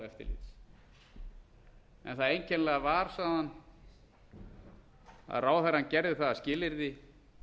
fjármálaeftirlitsins en það einkennilega var sagði hann að ráðherrann gerði það að skilyrði